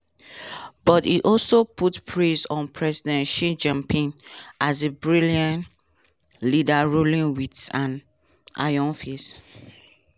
but e also put praise on president xi jinping as a "brilliant" leader ruling wit an "iron fist".